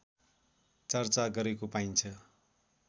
चर्चा गरेको पाइन्छ